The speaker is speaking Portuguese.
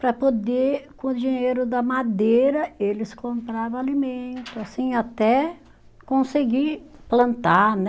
Para poder, com o dinheiro da madeira, eles comprava alimento, assim, até conseguir plantar, né?